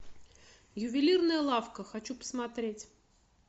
ювелирная лавка хочу посмотреть